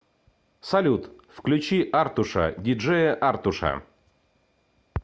салют включи артуша ди джея артуша